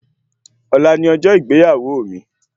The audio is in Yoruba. Ọ̀la ni ọjọ́ ìgbéyàwó mi